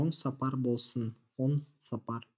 оң сапар болсын оң сапар